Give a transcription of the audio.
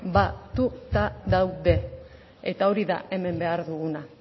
batuta daude eta hori da hemen behar duguna